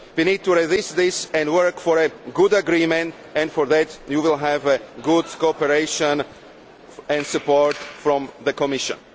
We need to resist this and work for a good agreement and for that you will have good cooperation and support from the Commission.